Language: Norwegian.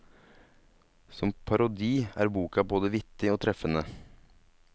Som parodi er boka både vittig og treffende.